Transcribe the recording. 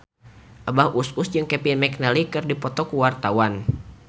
Abah Us Us jeung Kevin McNally keur dipoto ku wartawan